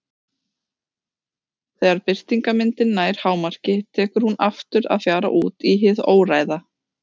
Þegar birtingarmyndin nær hámarki tekur hún aftur að fjara út í hið óræða.